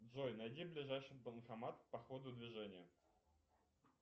джой найди ближайший банкомат по ходу движения